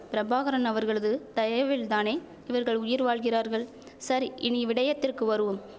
பிரபாகரன் அவர்களது தயவில்தானே இவர்கள் உயிர் வாழ்கிறார்கள் சரி இனி விடயத்திற்கு வருவோம்